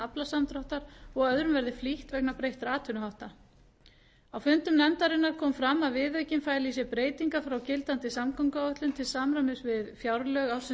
aflasamdráttar og að öðrum verði flýtt vegna breyttra atvinnuhátta á fundum nefndarinnar kom fram að viðaukinn fæli í sér breytingar frá gildandi samgönguáætlun til samræmis við fjárlög ársins tvö þúsund